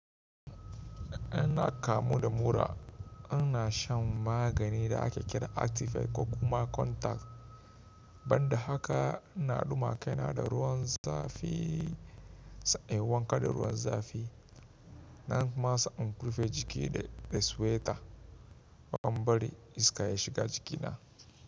Inna kamu da mura, ina shan magani da ake kira actifed ko kuma contact. Ban da haka ina Duma kai na da ruwan zafi. Na yi wanka da ruwan zafi nan kuma sai in rufe jiki da sweater ban bari iska ya shiga jikina.